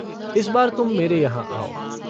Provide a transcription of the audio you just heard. इस बार तुम मेरे यहाँ आओ।